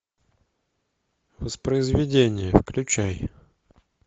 воспроизведение включай